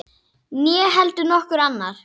Né heldur nokkur annar.